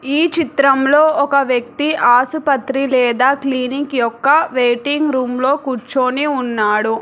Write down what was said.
ఈ చిత్రంలో ఒక వ్యక్తి ఆసుపత్రి లేదా క్లినిక్ యొక్క వెయిటింగ్ రూమ్ లో కూర్చొని ఉన్నాడు.